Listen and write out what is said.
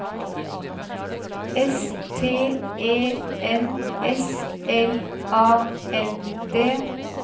S T E N S L A N D